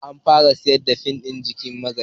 An fara sayar da fim ɗin "Jiki Magayi"